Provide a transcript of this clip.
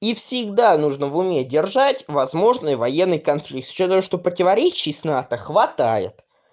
и всегда нужно в уме держать возможный военный конфликт с учётом того что противоречий с нато хватает